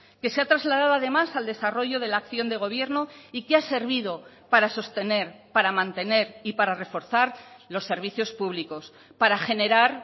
que se ha trasladado además al desarrollo de la acción de gobierno y que ha servido para sostener para mantener y para reforzar los servicios públicos para generar